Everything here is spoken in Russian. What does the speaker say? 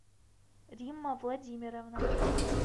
римма владимировна